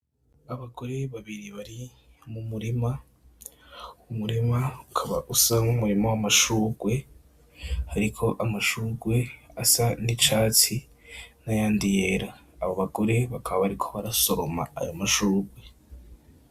Abagore babiri bari mumurima, umurima ukaba usa numurima wamashurwe hariho amashurwe asa nicatsi nayandi yera abo bagore bakaba bariko barasoroma ayo mashurwe.